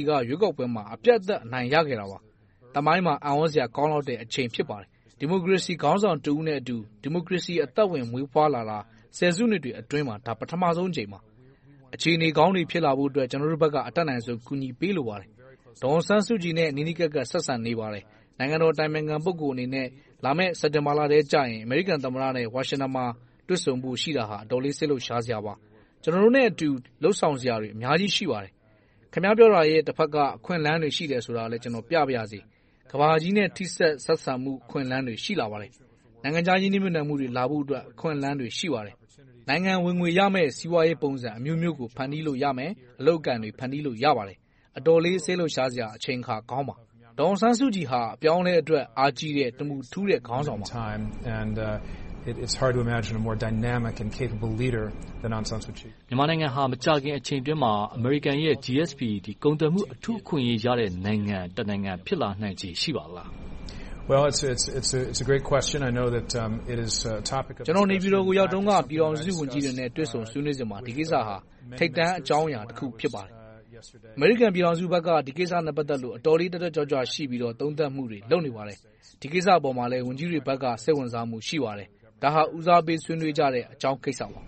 ်က ရွေးကောက်ပွဲမှာ အပြတ်အသတ် အနိုင်ရရှိခဲ့တာပါ။ သမိုင်းမှာ အံ့သြစရာကောင်းလှတဲ့အချိန် ဖြစ်ပါတယ်။ ဒီမိုကရေစီခေါင်းဆောင်တဦးနဲ့အတူ ဒီမိုကရေစီ အသက်ဝင်မွေးဖွားလာတာ ဆယ်စုနှစ်တွေအတွင်းမှာ ပထမဦးဆုံးအကြိမ်ပါ။ အခြေအနေကောင်းတွေ ဖြစ်လာဖို့အတွက် ကျနော်တို့ဘက်က အတတ်နိုင်ဆုံး ကူညီပေးလိုပါတယ်။ ဒေါ်အောင်ဆန်းစုကြည်နဲ့ နီးနီးကပ်ကပ် ဆက်ဆံနေပါတယ်။ နိုင်ငံတော် အတိုင်ပင်ခံ ပုဂ္ဂိုလ်အနေနဲ့ လာမယ့် စက်တင်ဘာလထဲမှာ အမေရိကန်သမ္မတနဲ့ ဝါရှင်တန်မှာ တွေ့ဆုံဖို့ရှိတာ အတော်လေး စိတ်လှုပ်ရှားစရာပါ။ ကျနော်တို့နဲ့အတူ လုပ်ဆောင်စရာတွေ အများကြီး ရှိပါတယ်။ ခင်များ ပြောတာရဲ့ တဘက်က အခွင့်အလမ်းတွေ ရှိတယ်ဆိုတာလဲ ကျနော် ပြပါရစေ။ ကမ္ဘာကြီးနဲ့ ထိစပ်ဆက်ဆံမှု အခွင့်အလမ်းတွေ ရှိလာပါတယ်။ နိုင်ငံခြားရင်းနှီးမြှုပ်နံှမှုတွေ လာဖို့အတွက် အခွင့်အလမ်းတွေ ရှိပါတယ်။ နိုင်ငံဝင်ငွေရမယ့် စီးပွားရေးပုံစံအမျိုးမျိုးကို ဖန်တီးလို့ရပါတယ်။ အတော်လေး စိတ်လှုပ်ရှားစရာ အချိန်အခါကောင်းပါ။ ဒေါ်အောင်ဆန်းစုကြည်ဟာ အပြောင်းအလဲအတွက် အားကြီးတဲ့၊ တမူထူးတဲ့ ခေါင်းဆောင်ပါ။ မြန်မာနိုင်ငံဟာ မကြာခင် အချိန်အတွင်းမှာ အမေရိကန်ရဲ့ GSP ကုန်သွယ်မှု အထူးအခွင့်အရေးရတဲ့ နိုင်ငံတနိုင်ငံ ဖြစ်လာနိုင်ခြေ ရှိပါလား။ ကျနော် နေပြည်တော်ကို ရောက်တုန်းက ပြည်ထောင်စုဝန်ကြီးတွေနဲ့ တွေ့ဆုံဆွေးနွေးချင်ပါတယ်။ ဒီကိစ္စက ထိပ်တန်းအကြောင်းအရာတခု ဖြစ်ပါတယ်။ အမေရိကန်ပြည်ထောင်စုဘက်က ဒီကိစ္စနဲ့ ပတ်သက်လို့ အတော်လေး တက်တက်ကြွကြွ ရှိပြီးတော့ သုံးသပ်မှုတွေ လုပ်နေပါတယ်။ ဒီကိစ္စအပေါ် ဝန်ကြီးတွေဘက်က စိတ်ဝင်စားမှု ရှိပါတယ်။ ဒါဟာ ဦးစားပေးဆွေးနွေးကြတဲ့ အကြောင်းကိစ္စပါ။